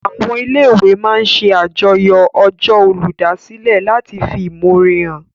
Àwọn ilé-ìwé máa n ṣe àjọyọ̀ ọjọ́ olùdásílẹ̀ láti fi ìmọ̀ore hàn